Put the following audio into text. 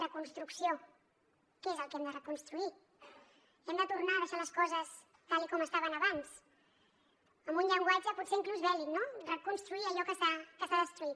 reconstrucció què és el que hem de reconstruir hem de tornar a deixar les coses tal com estaven abans amb un llenguatge potser inclús bèl·lic no reconstruir allò que s’ha destruït